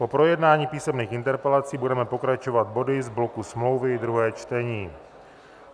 Po projednání písemných interpelací budeme pokračovat body z bloku smlouvy, druhé čtení.